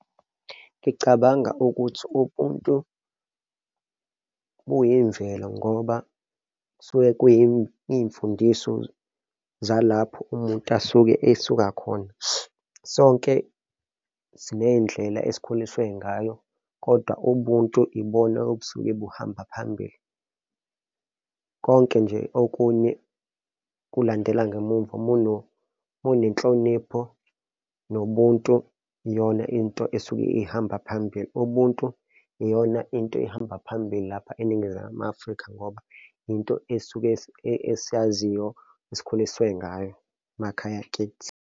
Ngicabanga ukuthi ubuntu buyimvelo ngoba kusuke kuyiy'mfundiso zalapho umuntu asuke esuka khona. Sonke siney'ndlela esikhuliswe ngayo kodwa ubuntu ibona obusuke buhamba phambili. Konke nje okunye kulandela ngemumva monenhlonipho nobuntu, iyona into esuke ihamba phambili. Ubuntu iyona into ehamba phambili lapha eNingizimu Afrika ngoba into esuke esiyaziyo esikhuliswe ngayo emakhaya kithi.